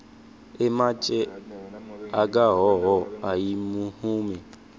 ematje akahhohho ayimihume